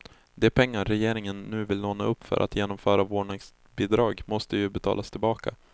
De pengar regeringen nu vill låna upp för att genomföra vårdnadsbidrag måste ju betalas tillbaka.